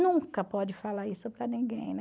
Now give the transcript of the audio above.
Nunca pode falar isso para ninguém, né?